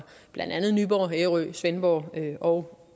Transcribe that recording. blandt andet nyborg ærø svendborg og